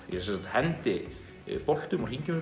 ég sem sagt hendi boltum og hringjum